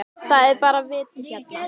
Það er bara vetur hérna.